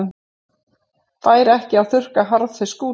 Fær ekki að þurrka harðfisk úti